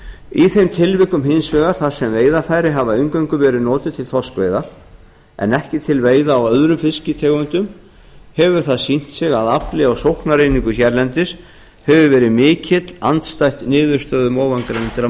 í þeim tilvikum hins vegar þar sem veiðarfæri hafa eingöngu verið notuð til þorskveiða en ekki til veiða á öðrum fisktegundum hefur það sýnt sig að afli á sóknareiningu hérlendis hefur verið mikill andstætt niðurstöðum ofangreindra